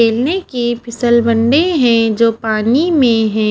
खेलने की फिसल बन्डे हैं जो पानी में हैं।